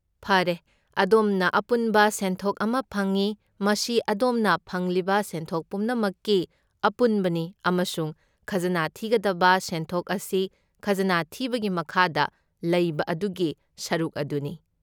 ꯐꯔꯦ, ꯑꯗꯣꯝꯅ ꯑꯄꯨꯟꯕ ꯁꯦꯟꯊꯣꯛ ꯑꯃ ꯐꯪꯏ, ꯃꯁꯤ ꯑꯗꯣꯝꯅ ꯐꯪꯂꯤꯕ ꯁꯦꯟꯊꯣꯛ ꯄꯨꯝꯅꯃꯛꯀꯤ ꯑꯄꯨꯟꯕꯅꯤ, ꯑꯃꯁꯨꯡ ꯈꯖꯅꯥ ꯊꯤꯒꯗꯕ ꯁꯦꯟꯊꯣꯛ ꯑꯁꯤ ꯈꯖꯅꯥ ꯊꯤꯕꯒꯤ ꯃꯈꯥꯗ ꯂꯩꯕ ꯑꯗꯨꯒꯤ ꯁꯔꯨꯛ ꯑꯗꯨꯅꯤ꯫